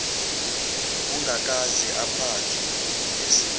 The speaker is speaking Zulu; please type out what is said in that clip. ongakaze aphathwe yilesifo